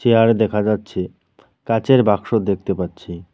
Chair দেখা যাচ্ছে কাঁচের বাক্স দেখতে পাচ্ছি।